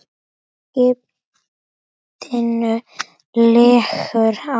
Skipinu liggur á.